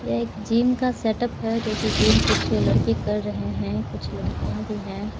यह एक जिम का सेटअप है जो कि जिम कुछ लड़के कर रहे है कुछ लड़किया भी है ।